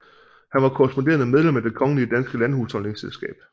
Han var korresponderende medlem af Det kongelige danske Landhusholdningsselskab